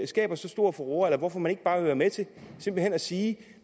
skaber så stor furore eller hvorfor man ikke bare vil være med til simpelt hen at sige at